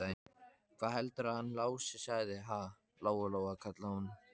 Hvað heldurðu að hann Lási segði, ha, Lóa-Lóa, kallaði hún.